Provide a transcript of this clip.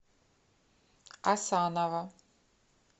асанова